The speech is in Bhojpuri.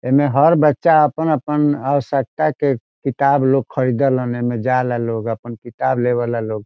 एमे हर बच्चा अपन-अपन आवश्कता के किताब लोग खरीदल अने में जाला लोग अपन किताब लेबेला लोग।